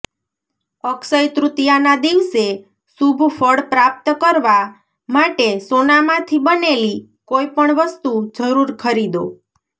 અક્ષય તૃતીયાના દિવસે શુભ ફળ પ્રાપ્ત કરવા માટે સોનામાંથી બનેલી કોઈપણ વસ્તુ જરુર ખરીદો